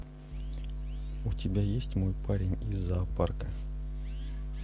у тебя есть мой парень из зоопарка